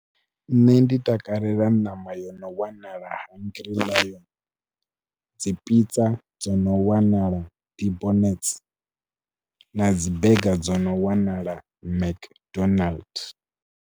Nṋe ndi takalela ṋama yo no wanala Hungry Lion, dzi pizza dzo no wanala Debonairs na dzi burger dzi no wanala McDold's.